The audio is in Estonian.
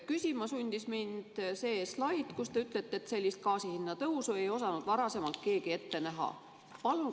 Küsima sundis mind see slaid, mille kohta te ütlesite, et sellist gaasi hinna tõusu ei osanud varasemalt keegi ette näha.